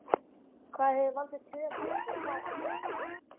Hvað hefur valdið töfum og hvað ekki?